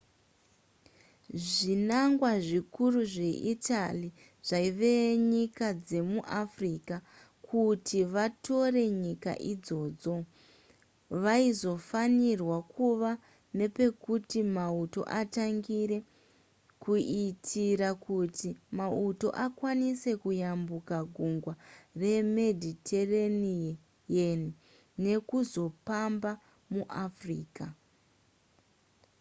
zvinangwa zvikuru zveitaly zvaive nyika dzemu africa kuti vatore nyika idzodzo vaizofanirwa kuve nepekuti mauto atangire kuitira kuti mauto akwanise kuyambuka gungwa remediterranean nekuzopamba muafrica